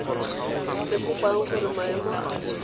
le kopang gore maemo a